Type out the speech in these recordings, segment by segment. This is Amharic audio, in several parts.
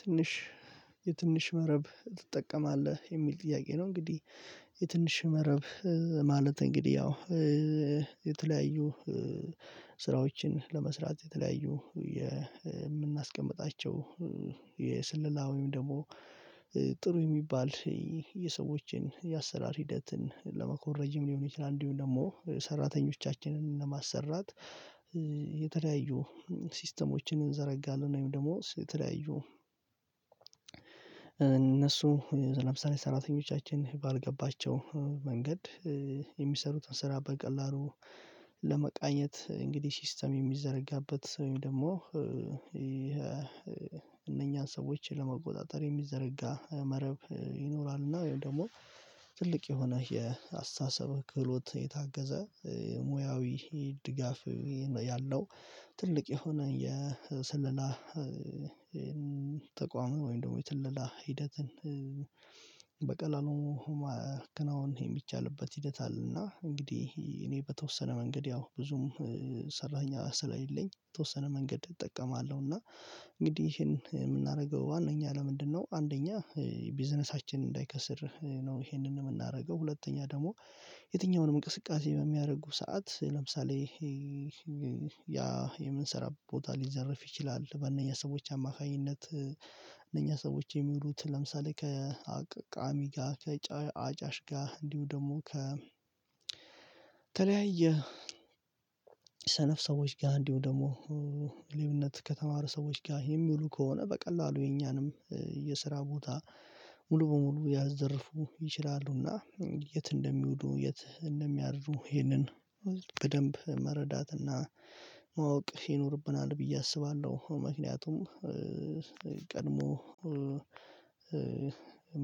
ትንሽ የትንሽ መረብ ትጠቀማለህ የሚል ጥያቄ ነው? እንግዲህ የትንሽ መረብ ማለት እንግዲህ ያው የተለያዩ ስራዎችን ለመስራት የተለያዩ የምናስቀምጣቸው የስለላ ወይም ደግሞ ጥሩ የሚባል የሰዎችን የአሰራር ሂደትን ለመኮረጅም ሊሆን ይችላል። እንዲሁም ደግሞ ሰራተኞቻችንን ለማሰራት የተለያዩ ሲስተሞችን እንዘረጋለን ወይም ደግሞ የተለያዩ እነሱ ምሳሌ ሰራተኞቻችን ባልገባቸው መንገድ የሚሰሩትን ስራ በቀላሉ ለመቃኘት እንግዲህ ሲስተም የሚዘረጋበት ደግሞ እነኛን ሰዎችን ለመቆጣጠር የሚዘረጋ መረብ ይኖራል። እና ወይም ደግሞ ትልቅ የሆነ የአስተሳሰብ ክብሎት የታገዘ ሙያዊ ድጋፍ ያለው ትልቅ የሆነ የስለላ ተቋም ወይም ደግሞ የስለላ ሂደትን በቀላሉ ማከናወን የሚቻልበት ሂደት አለና እንግዲህ እኔ በተወሰነ መንገድ ያው ብዙም ሰራተኛ ስላለኝ በተወሰነ መንገድ እጠቀማለሁ። እና እንግዲህ ይሄን የምናደርገው ዋናኛ ለምንድነው አንደኛ ቢዝነሳችን እንዳይከስር ነው ይሄንን የምናደርገው ሁለተኛ ደግሞ የትኛውንም እንቅስቃሴ በሚያደርጉ ሰዓት ለምሳሌ ይሄ ያ የምንሰራ ቦታ ሊዘርፍ ይችላል። በእነኛ ሰዎች አማካኝነት እነኛ ሰዎች የሚሉት ለምሳሌ ከአቃሚ ጋር ከአጫሽ ጋር እንዲሁ ደግሞ ከተለያየ ሰነፍ ሰዎች ጋር እንዲሁ ደግሞ ሌብነት ከተማሩ ሰዎች ጋር የሚሉ ከሆነ በቀላሉ የኛንም የስራ ቦታ ሙሉ በሙሉ ያዘርፉ ይችላሉና የት እንደሚውዱ የት እንደሚያድሩ ይህንን በደንብ መረዳት እና ማወቅ ይኖርብናል ብዬ አስባለሁ። ምክንያቱም ቀድሞ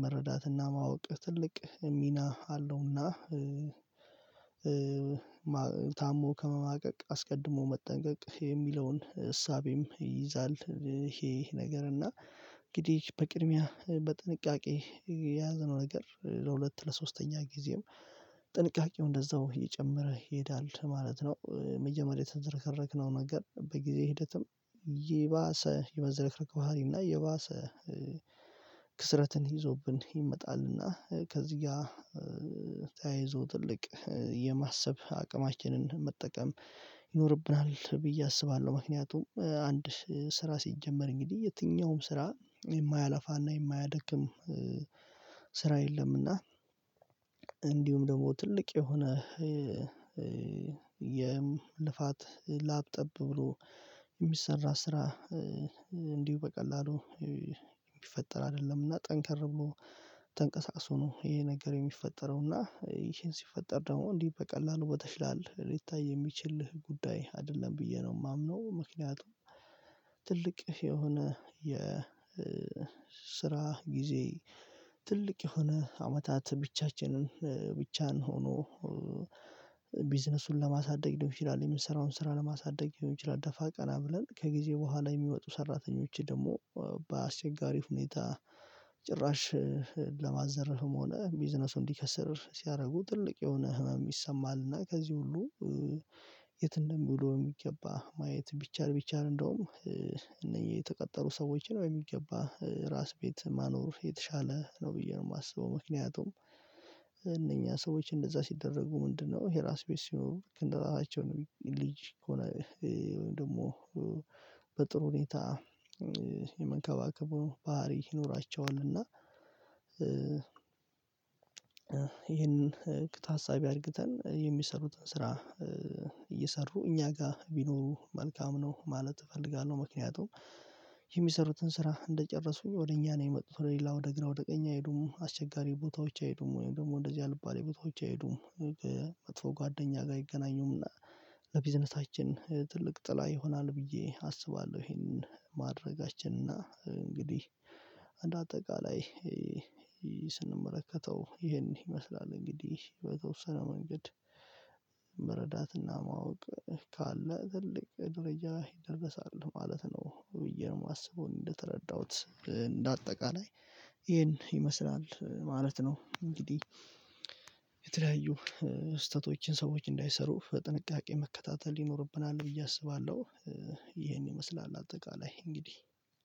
መረዳትና ማወቅ ትልቅ ሚና አለውና ታሞ ከመማቀቅ አስቀድሞ መጠንቀቅ የሚለውን እሳቤም ይይዛል። ይሄ ይሄ ነገር እና እንግዲህ በቅድሚያ በጥንቃቄ የያዘነው ነገር ለሁለት ለሶስተኛ ጊዜም ጥንቃቄው እንደዛው እየጨመረ ይሄዳል ማለት ነው። መጀመሪያ የተዘረከረክነው ነገር በጊዜ ሂደትም ይባሰ የመዘረከረክ ባህሪ እና የባሰ ክስረትን ይዞብን ይመጣል እና ከዚህ ጋር ተያይዞ ትልቅ የማሰብ አቅማችንን መጠቀም ይኖርብናል ብዬ አስባለሁ። ምክንያቱም አንድ ስራ ሲጀመር እንግዲህ የትኛውም ስራ የማያላፋ እና የማያደክም ስራ የለምና እንዲሁም ደግሞ ትልቅ የሆነ የልፋት ላብ ጠብ ብሎ የሚሰራ ስራ እንዲሁ በቀላሉ የሚፈጠር አይደለም። እና ጠንከር ብሎ ተንቀሳቅሶ ነው ይሄ ነገር የሚፈጠረው እና ይሄን ሲፈጠር ደግሞ እንዲህ በቀላሉ በተሽላል ሊታይ የሚችልህ ጉዳይ አይደለም ብዬ ነው የማምነው ምክንያቱም ትልቅ የሆነ የ ስራ ጊዜ ትልቅ የሆነ አመታት ብቻችንን ብቻን ሆኖ ቢዝነሱን ለማሳደግ ሊሆን ይቺላል የምንሰራውን ስራ ለማሳደግ ሊሆን ይችላል። ደፋ ቀና ብለን ከጊዜ በኋላ የሚመጡ ሰራተኞች ደግሞ በአስቸጋሪ ሁኔታ ጭራሽ ለማዘረፍም ሆነ ቢዝነሱን እንዲከስር ሲያደርጉ ትልቅ የሆነ ህመም ይሰማሃል እና ከዚህ ሁሉ የት እንደሚለው በሚገባ ማየት ቢቻል ቢቻል እንደውም እነዚህ የተቀጠሩ ሰዎችን ወይ በሚገባ ራስ ቤት ማኖር የተሻለ ነው ብዬ ነው የማስበው። ምክንያቱም እነኛ ሰዎች እንደዛ ሲደረጉ ምንድነው ይሄ ራስ ቤት ሲኖሩክ ልክ እንደራሳቸውን ልጅ ሆነ ወይም ደግሞ በጥሩ ሁኔታ የመንከባከቡ ባህሪ ይኖራቸዋል። እና ይህንን እቅድ ታሳቢ አድርግተን የሚሰሩትን ስራ እየሰሩ እኛ ጋር ቢኖሩ መልካም ነው ማለት እፈልጋለሁ። ምክንያቱም የሚሰሩትን ስራ እንደጨረሱኝ ወደ እኛ ነው የመጡት ወደ ሌላ ወደ ግራ ወደ ቀኝ አይሄዱም አስቸጋሪ ቦታዎች አይሄዱም ወይ ደግሞ እንደዚህ አልባሌ ቦታዎች አይሄዱም መጥፎ ጓደኛ ጋር አይገናኙም እና ለቢዝነሳችን ትልቅ ጥላ ይሆናል ብዬ አስባለሁ። ይሄንን ማድረጋችን እና እንግዲህ እንደ አጠቃላይ ስንመለከተው ይሄን ይመስላል እንግዲህ በተወሰነ መንገድ መረዳትና ማወቅ ካለ ትልቅ ድርጅት ይደርሳል ማለት ነው ብዬ ነው የማስበው እንደተረዳሁት እንደ አጠቃላይ ይሄን ይመስላል ማለት ነው። እንግዲህ የተለያዩ ስህተቶችን ሰዎች እንዳይሰሩ በጥንቃቄ መከታተል ይኖርብናል ብዬ አስባለሁ። ይሄን ይመስላል አጠቃላይ እንግዲህ